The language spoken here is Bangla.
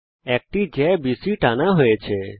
একটি জ্যা বিসি টানা হয়েছে